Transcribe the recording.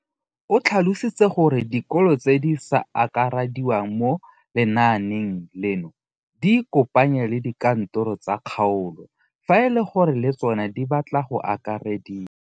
O tlhalositse gore dikolo tse di sa akarediwang mo lenaaneng leno di ikopanye le dikantoro tsa kgaolo fa e le gore le tsona di batla go akarediwa.